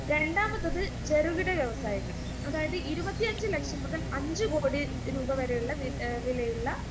രണ്ടാമത്തത് ചെറുകിട വ്യവസായങ്ങൾ അതായത് ഇരുപത്തഞ്ച് ലക്ഷം മുതൽ അഞ്ചുകോടി രൂപ വരെയുള്ള വില വിലയുള്ള